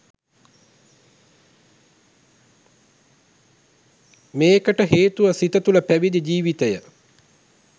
මේකට හේතුව සිත තුළ පැවිදි ජීවිතය